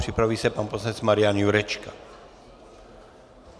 Připraví se pan poslanec Marian Jurečka.